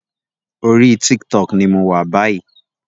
Orí TikTok ní mọ wá bayi